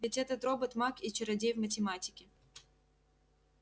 ведь этот робот маг и чародей в математике